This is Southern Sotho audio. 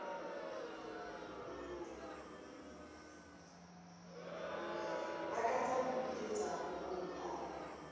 lakatsa ho ipiletsa ho bomphato